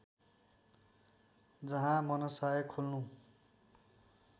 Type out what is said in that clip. जहाँ मनसाय खोल्नु